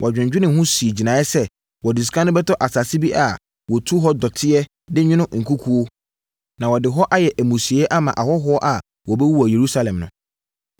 Wɔdwennwenee ho sii gyinaeɛ sɛ, wɔde sika no bɛtɔ asase bi a wɔtu hɔ dɔteɛ de nwono nkukuo, na wɔde ɛhɔ ayɛ amusieeɛ ama ahɔhoɔ a wɔbɛwu wɔ Yerusalem no.